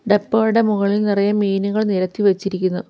ഡപ്പകളുടെ മുകളിൽ നിറയെ മീനുകൾ നിരത്തി വെച്ചിരിക്കുന്നു.